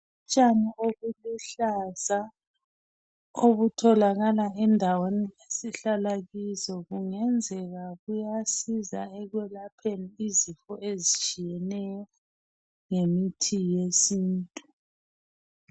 Utshani obuluhlaza, obutholakala endaweni esihlala kizo, kungenzeka kuyasiza ekweoapheni izifo ezitshiyeneyo ngemithi yesintu.